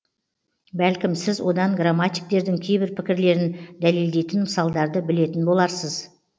бәлкім сіз одан грамматиктердің кейбір пікірлерін дәлелдейтін мысалдарды білетін боларсыз